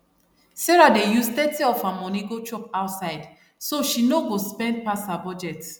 sarah dey use thirty of her money go chop outside so she no go spend pass her budget